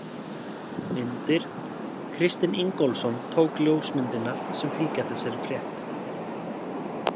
Myndir: Kristinn Ingólfsson tók ljósmyndirnar sem fylgja þessari frétt.